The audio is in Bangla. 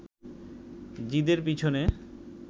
জিদের পিছনে